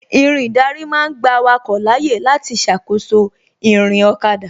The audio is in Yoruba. Irin ìdarí ma ń gba awake láyé láti ṣàkóso ìrìn ọ̀kada